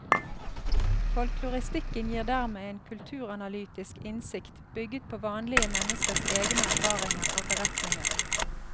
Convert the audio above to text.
Folkloristikken gir dermed en kulturanalytisk innsikt bygget på vanlige menneskers egne erfaringer og beretninger.